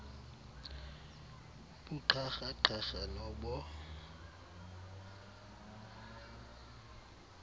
buqharha qharha nobo